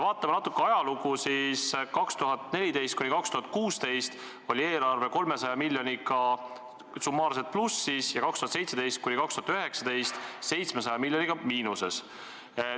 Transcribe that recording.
Vaatame natukene ajalugu: 2014–2016 oli eelarve 300 miljoniga summaarselt plussis, aastail 2017–2019 aga 700 miljoniga miinuses.